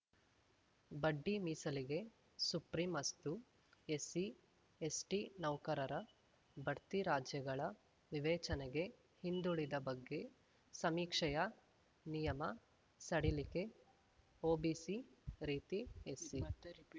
ಬಡ್ಡಿ ಮೀಸಲಿಗೆ ಸುಪ್ರಂ ಅಸ್ತು ಎಸ್ಸಿ ಎಸ್ಟಿನೌಕರರ ಬಡ್ತಿ ರಾಜ್ಯಗಳ ವಿವೇಚನೆಗೆ ಹಿಂದುಳಿದ ಬಗ್ಗೆ ಸಮೀಕ್ಷೆಯ ನಿಯಮ ಸಡಿಲಿಕೆ ಒಬಿಸಿ ರೀತಿ ಎಸ್ಸಿ ಮತ್ತೆ ರಿಪೀಟ್